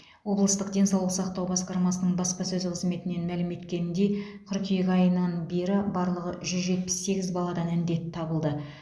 облыстық денсаулық сақтау басқармасының баспасөз қызметінен мәлім еткеніндей қыркүйек айынан бері барлығы жүз жетпіс сегіз баладан індет табылды